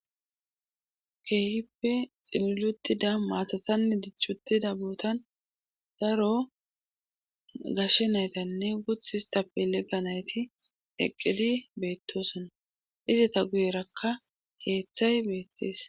Keehipe xinulutida maatatanne dichchutida bootan daro gashe naytanne guth histapilega nayti eqqidi beettosona izata guyerakka heeththay beettees.